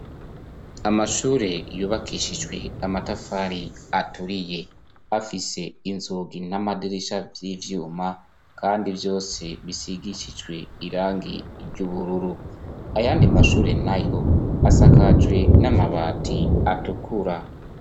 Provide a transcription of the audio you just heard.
Amashure yubakishijwe amatafari aturiye afise inzugi n'amadirisha vy'ivyuma kandi vyose bisigishijwe irangi ry'ubururu. Ayandi mashure nayo asakajwe n'amabati atukura.